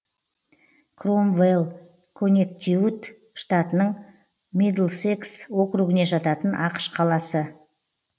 кромвэлл коннектикут штатының мидлсекс округіне жататын ақш қаласы